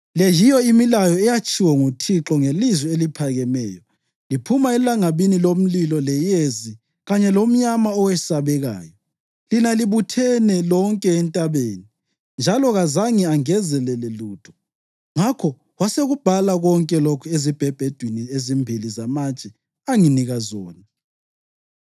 Le yiyo imilayo eyatshiwo nguThixo ngelizwi eliphakemeyo liphuma elangabini lomlilo leyezi kanye lomnyama owesabekayo; lina libuthene lonke entabeni, njalo kazange engezelele lutho. Ngakho wasekubhala konke lokhu ezibhebhedwini ezimbili zamatshe anginika zona.